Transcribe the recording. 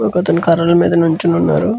ఒక అతను కర్రల మీద నిల్చొని వున్నారు.